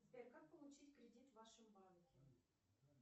сбер как получить кредит в вашем банке